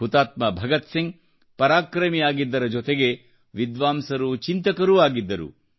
ಹುತಾತ್ಮ ಭಗತ್ಸಿಂಗ್ ಪರಾಕ್ರಮಿಯಾಗಿದ್ದರ ಜೊತೆಗೆ ವಿದ್ವಾಂಸರೂ ಚಿಂತಕರೂ ಆಗಿದ್ದರು